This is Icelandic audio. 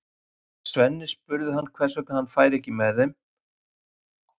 Þegar Svenni spurði hann hvers vegna hann færi ekki með þau heim svaraði Kobbi stuttaralega